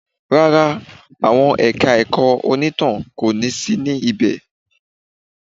Rárá, àwọn ẹ̀ka ẹ̀kọ́ onítàn kò ní sí ní ibẹ̀